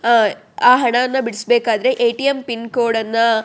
ಆ ಆ ಹಣಾನ ಬಿಡಿಸ್ಬೇಕಾದ್ರೆ ಎ.ಟಿ.ಎಮ್. ಪಿನ್ಕೋಡನ್ನ --